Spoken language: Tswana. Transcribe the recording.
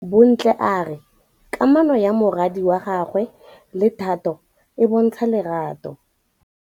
Bontle a re kamanô ya morwadi wa gagwe le Thato e bontsha lerato.